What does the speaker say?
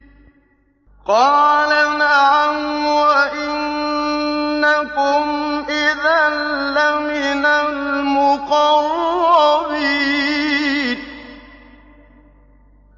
قَالَ نَعَمْ وَإِنَّكُمْ إِذًا لَّمِنَ الْمُقَرَّبِينَ